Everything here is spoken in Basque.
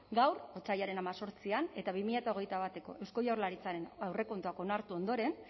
gaur otsailaren hemezortzian eta bi mila hogeita bateko eusko jaurlaritzaren aurrekontuak onartu ondoren